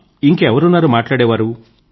ఇంకా ఎవరున్నారు మాట్లాడేవారు